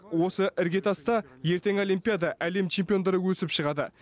осы іргетаста ертең олимпиада әлем чемпиондары өсіп шығады